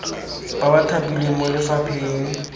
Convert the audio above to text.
ba ba thapilweng mo lefapheng